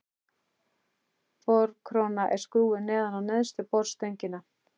Borkróna er skrúfuð neðan á neðstu borstöngina.